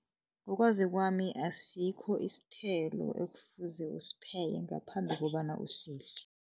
Ngokwazi kwami, asikho isithelo ekufuze usipheke ngaphambi kobana usidle.